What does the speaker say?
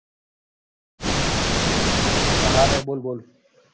હા ભાઈ બોલ બોલ